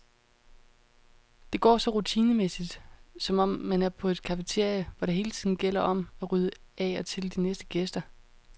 Det går så rutinemæssigt, som om man er på et cafeteria, hvor det hele tiden gælder om at rydde af til de næste gæster.